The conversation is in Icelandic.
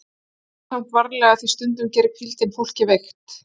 Farðu samt varlega því stundum gerir hvíldin fólk veikt, segir